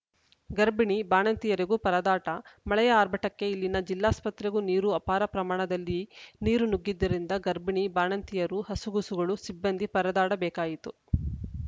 ಗರ್ಭಿಣಿ ಬಾಣಂತಿಯರಿಗೂ ಪರದಾಟ ಮಳೆಯ ಆರ್ಭಟಕ್ಕೆ ಇಲ್ಲಿನ ಜಿಲ್ಲಾಸ್ಪತ್ರೆಗೂ ನೀರು ಅಪಾರ ಪ್ರಮಾಣದಲ್ಲಿ ನೀರು ನುಗ್ಗಿದ್ದರಿಂದ ಗರ್ಭಿಣಿ ಬಾಣಂತಿಯರು ಹಸುಗೂಸುಗಳು ಸಿಬ್ಬಂದಿ ಪರದಾಡ ಬೇಕಾಯಿತು